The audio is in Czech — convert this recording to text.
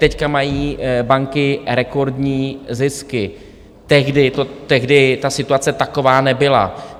Teď mají banky rekordní zisky, tehdy ta situace taková nebyla.